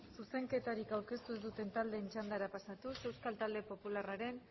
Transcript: zuzenketarik aurkeztu ez duten talde txanda pasatuz euskal talde popularraren